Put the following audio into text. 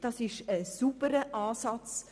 Es ist ein sauberer Ansatz.